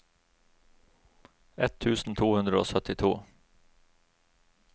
ett tusen to hundre og syttito